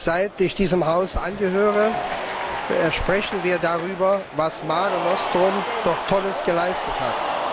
Seit ich diesem Haus angehöre, sprechen wir darüber, was Mare Nostrum doch Tolles geleistet hat.